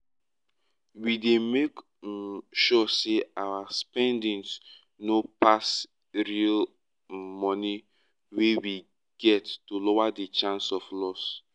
we dey make um sure say our spendings no pass real um money wey we get to lower di chance of loss